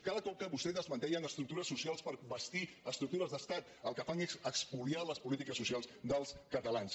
cada cop que vostès desmantellen estructures socials per bastir estructures d’estat el que fan és espoliar les polítiques socials dels catalans